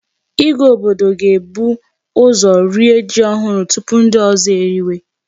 Ìgwè obodo ga-ebu ụzọ rie ji ohụrụ tupu ndị ozo eriwe.